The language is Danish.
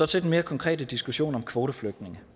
til den mere konkrete diskussion om kvoteflygtninge